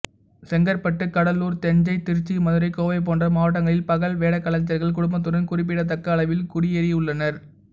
செங்கற்பட்டு கடலூர் தஞ்சை திருச்சி மதுரை கோவை போன்ற மாவட்டங்களில் பகல் வேடக்கலைஞர்கள் குடும்பத்துடன் குறிப்பிடத்தக்க அளவில் குடியேறியுள்ளனர்